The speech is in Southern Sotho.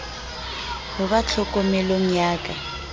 ho ba tlhokomelong ya ka